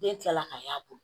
Den kilala k'a y'a bolo